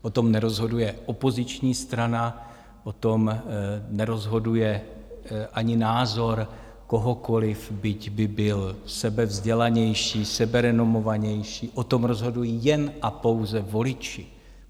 O tom nerozhoduje opoziční strana, o tom nerozhoduje ani názor kohokoliv, byť by byl sebevzdělanější, seberenomovanější, o tom rozhodují jen a pouze voliči.